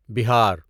بہار